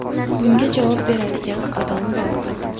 Bunga javob beradigan odamlar bor.